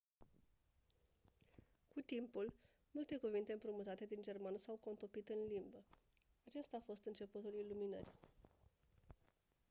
cu timpul multe cuvinte împrumutate din germană s-au contopit în limbă acesta a fost începutul iluminării